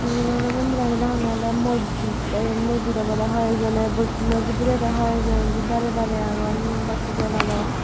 mujurmano mondiranit agonney oley mojjid te iben mojjid obodey hoi joney bocconoi bidirey tey hoekjoney indi darey darey agon mombatti jaladon.